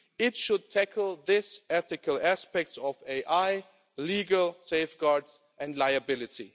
It should tackle this ethical aspect of AI, legal safeguards and liability.